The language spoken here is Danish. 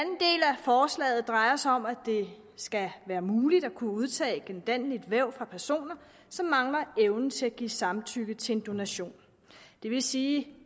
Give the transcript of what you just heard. forslaget drejer sig om at det skal være muligt at udtage gendanneligt væv fra personer som mangler evnen til at give samtykke til en donation det vil sige